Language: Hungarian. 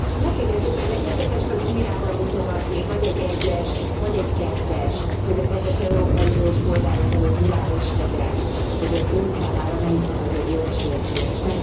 Megkérném szépen, legyen kedves az ujjával mutogatni, vagy egy egyest, vagy egy kettest, hogy a kedves európai uniós polgárok előtt világos legyen, hogy az Ön számára melyik a nagyobb jogsértés.